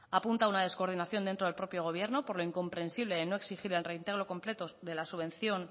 apunta una descoordinación dentro del propio gobierno por lo incomprensible de no exigir el reintegro completo de la subvención